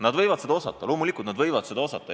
Nad võivad keelt osata, loomulikult võivad nad seda osata.